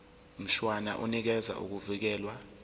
mshwana unikeza ukuvikelwa